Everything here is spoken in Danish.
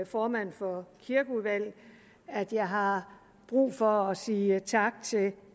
formand for kirkeudvalget at jeg har brug for og sige tak til